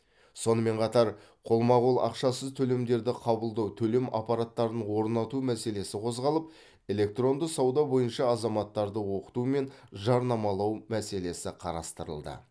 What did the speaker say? сонымен қатар қолма қол ақшасыз төлемдерді қабылдау төлем аппараттарын орнату мәселесі қозғалып электронды сауда бойынша азаматтарды оқыту мен жарнамалау мәселесі қарастырылды